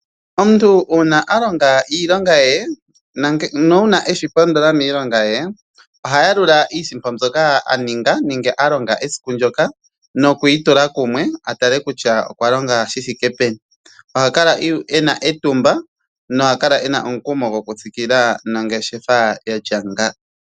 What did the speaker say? Omuntu uuna alonga iilonga ye na uuna eshi poodola miilonga ye ohayalula iisimpo mbyoka alonga esiku ndjoka nokuyi tula kumwe atale kutya okwa longa shithike peni . Oha kala ena etumba nomukumo gokutsikila nongeshefa yatya nga.